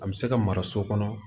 A bɛ se ka mara so kɔnɔ